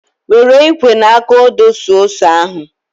Were ikwe na aka ọdụ suo ose ahụ